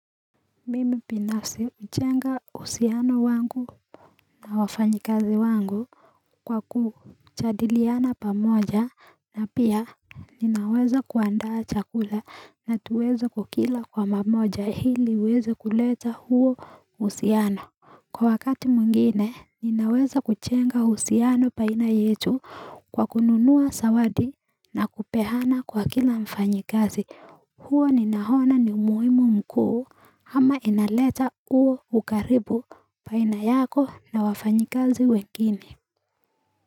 Mimi binafsi hujenga uhusiano wangu na wafanyakazi wangu Kwa kujadiliana pamoja na pia ninaweza kuandaa chakula na tuweza kukila kwa pamoja hili tuweza kuleta huo uhusiano Kwa wakati mwingine ninaweza kujenga uhusiano baina yetu kwa kununuwa zawadi na kupeana kwa kila mfanyakazi huo ninaona ni umuimu mkuu ama inaleta uo ukaribu Baina yako na wafanyakazi wengine.